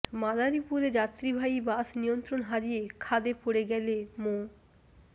মাদারীপুরে যাত্রীবাহী বাস নিয়ন্ত্রণ হারিয়ে খাদে পড়ে গেলে মো